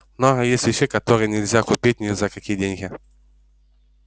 много есть вещей которые нельзя купить ни за какие деньги